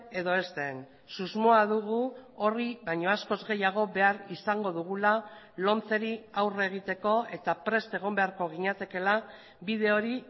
edo ez den susmoa dugu horri baino askoz gehiago behar izango dugula lomceri aurre egiteko eta prest egon beharko ginatekeela bide hori